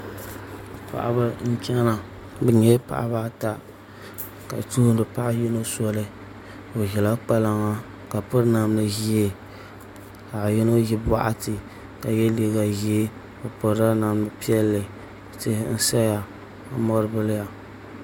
Paɣaba n chɛna bi nyɛla paɣaba ata ka tuhuri paɣa yino soli o ʒila kpalaŋa ka piri namdi ʒiɛ ka paɣa yino ʒi boɣati ka yɛ liiga ʒiɛ tihi n saya ka mori biliya